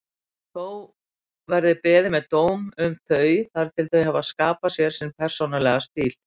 Þó verði beðið með dóm um þau þar til þau hafi skapað sér persónulegri stíl.